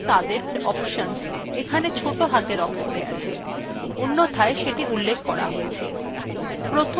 সমস্ত র্নিদেশাবলী এবং তাদের options এখানে ছোট হাতের অক্ষরে আছে অন্যথায় সেটি উল্লেখ করা আছে